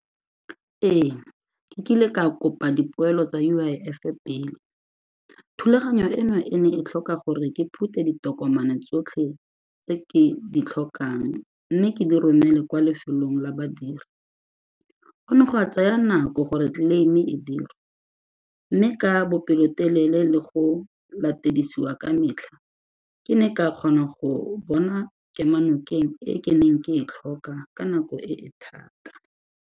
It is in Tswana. Ee, ke kile ka kopa dipoelo tsa U_I_F-e pele. Thulaganyo eno e ne e tlhoka gore ke phute ditokomane tsotlhe tse ke di tlhokang mme ke di romele kwa lefelong la badiri. Go ne gwa tsaya nako gore claim-e e dirwe mme ka bopelotelele le go latedisiwa ka metlha ke ne ka kgona go bona kemonokeng e ke neng ke e tlhoka ka nako e e thata.